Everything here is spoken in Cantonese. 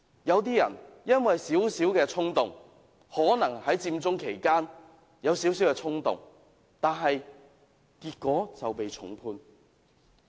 有些人因為少許衝動——可能在佔中期間有少許衝動——結果就被重判。